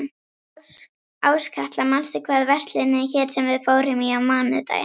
Áskatla, manstu hvað verslunin hét sem við fórum í á mánudaginn?